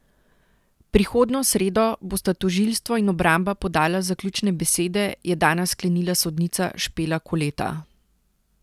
Prihodnjo sredo bosta tožilstvo in obramba podala zaključne besede, je danes sklenila sodnica Špela Koleta.